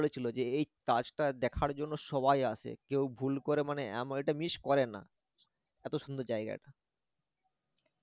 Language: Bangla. বলেছিল যে এই তাজ টা দেখার জন্য সবাই আসে কেউ ভুল করে মানে এমন এটা miss করে না এত সুন্দর জায়গা এটা